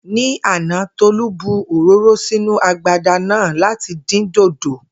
Ní àná, Tó̩lá bu òróró sínú agbada náà láti dín dòdò